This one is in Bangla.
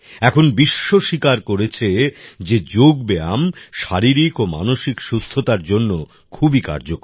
এখন বিশ্ব স্বীকার করেছে যে যোগব্যায়াম শারীরিক ও মানসিক সুস্থতার জন্য খুবই কার্যকর